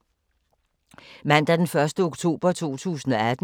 Mandag d. 1. oktober 2018